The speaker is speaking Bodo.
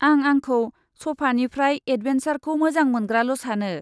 आं आंखौ सफानिफ्राय एदभेन्सारखौ मोजां मोनग्राल' सानो।